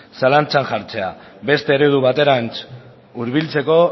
zalantza jartzea beste eredu baterantz hurbiltzeko